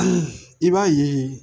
I b'a ye